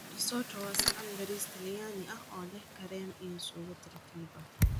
Risotto waa saxan bariis Talyaani ah oo leh kareem iyo suugo tartiib ah.